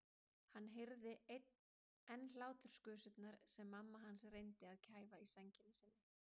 Hann heyrði enn hláturgusurnar sem mamma hans reyndi að kæfa í sænginni sinni.